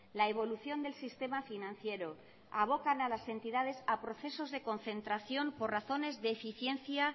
la evolución del sistema financiero avocan a las entidades a procesos de concentración por razones de eficiencia